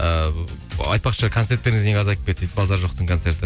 ыыы айтпақшы концерттеріңіз неге азайып кетті дейді базар жоқтың концерті